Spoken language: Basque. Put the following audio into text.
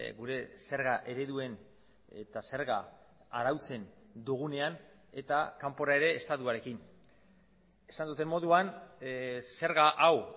gure zerga ereduen eta zerga arautzen dugunean eta kanpora ere estatuarekin esan duten moduan zerga hau